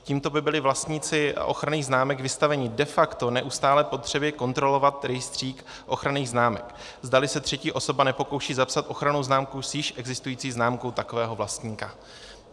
Tímto by byli vlastníci ochranných známek vystavení de facto neustálé potřebě kontrolovat rejstřík ochranných známek, zdali se třetí osoba nepokouší zapsat ochrannou známku s již existující známkou takového vlastníka.